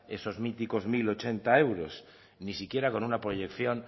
esos míticos mil ochenta euros ni siquiera con una proyección